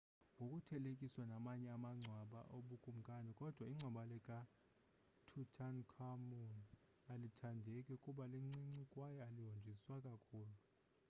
ngokuthelekiswa namanye amagcwaba obukumkani kodwa ingcwaba lika-tutankhamun alithandeki kuba lincinci kwaye alihonjiswa kakhulu